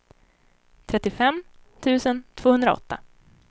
trettiofem tusen tvåhundraåtta